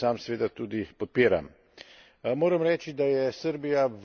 Mislim pa, da je resolucija dobra, in jo sam seveda tudi podpiram.